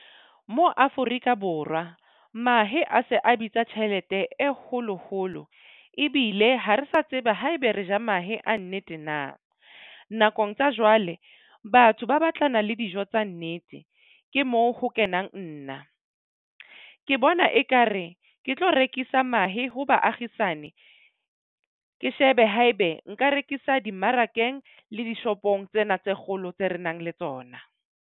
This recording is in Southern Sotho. Mo Afrika Borwa mahe a se a bitsa tjhelete e holo holo ebile ha re sa tseba haebe re ja mahe a nnete na. Nakong tsa jwale batho ba batlana le dijo tsa nnete ke moo ho kenang nna ke bona ekare ke tlo rekisa mahe ho baagishane. Ke shebe haebe nka rekisa dimmarakeng le dishopong tsena tse kgolo tse re nang le tsona.